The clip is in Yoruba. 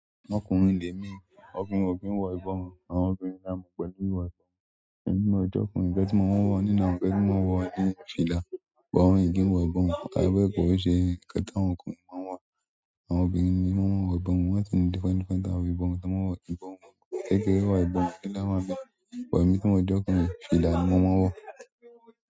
Ọkùnrin lè mí, obìnrin òkí ń wọ ìbọn, àwọn obìnrin ńlá mọ̀ pẹ̀lú wọ ìbọn. Ẹ̀mi mọ ọ̀jọ̀ọ́kùnrin nkan ti mo máa ń wọ̀, ní ìná, gẹ́tò máa ń wọ̀ ní fìlà. Ìbọn òyìnbó wọ ìbọn, àwọn ẹgbẹ́ kòró ṣe, ìpẹ́ta àwọn ọkùnrin máa ń wọ̀, àwọn obìnrin ni wọ́n máa ń wọ ìbọn, wọ́n sì ní dífẹ́ndífẹ́ ta wò ìbọn, tí wọ́n wọ ìbọn wọn. Gẹ́gẹ́ wọ ìbọn ni láwọ̀lọ́wọ́, wọ̀ ẹ́yin tí ọmọ ọ̀jọ̀ọ́kùnrin fi ìlà ni wọ́n máa ń wọ̀.